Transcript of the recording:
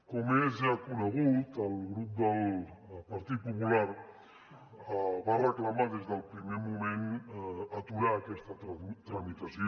com és ja conegut el grup del partit popular va reclamar des del primer moment aturar aquesta tramitació